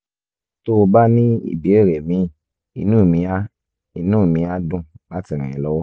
tó o bá ní ìbéèrè míì inú mi á inú mi á dùn láti ràn ẹ́ lọ́wọ́